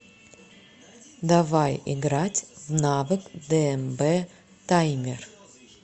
давай играть в навык дмб таймер